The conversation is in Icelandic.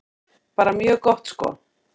Bara mjög gott sko.